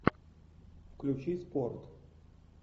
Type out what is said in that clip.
включи спорт